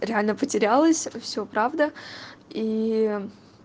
реально потерялась все правда и